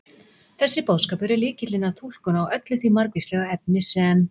Þessi boðskapur er lykillinn að túlkun á öllu því margvíslega efni sem